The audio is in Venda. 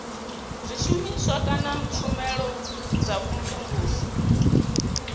zwishumiswa kana tshumelo dza vhumvumvusi